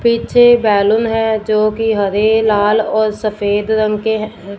पीछे बैलून है जो कि हरे लाल और सफेद रंग के है।